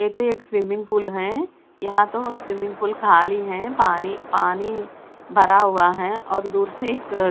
ये तो एक स्विमिंग पूल है यहां तो स्विमिंग पूल खाली है पानी पानी भरा हुआ है और दूर से एक--